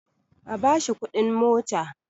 A bashi kudin mota!